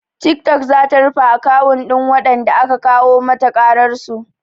Tiktok zata rufe akawun ɗin waɗanda aka kawo mata ƙararsu